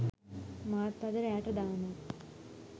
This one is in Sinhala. මාත් අද රෑට දානවා